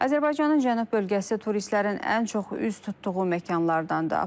Azərbaycanın cənub bölgəsi turistlərin ən çox üz tutduğu məkanlardandır.